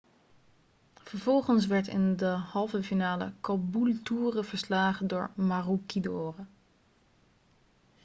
vervolgens werd in de halve finale caboolture verslagen door maroochydore